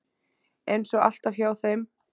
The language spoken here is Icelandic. Eins og alltaf hjá þeim.